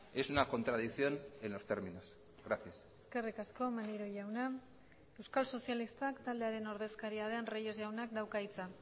es una contradicción en los términos gracias eskerrik asko maneiro jauna euskal sozialistak taldearen ordezkaria den reyes jaunak dauka hitza